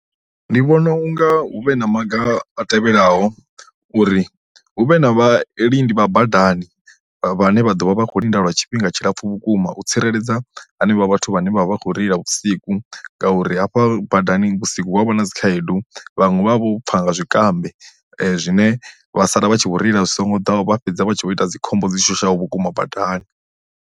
Ndi vhona unga hu vhe na maga a tevhelaho, uri hu vhe na vha lindi vha badani vhane vha ḓovha vha kho linda lwa tshifhinga tshilapfu vhukuma u tsireledza hanevha vhathu vhane vha vha kho reila vhusiku ngauri hafha badani vhusiku huavha na dzikhaedu vhaṅwe vha vha vho pfa nga zwikambi zwine vha sala vha tshi vho reila zwi songo ḓaho vha fhedza vha tshi vho ita dzi khombo dzi shushaho vhukuma badani.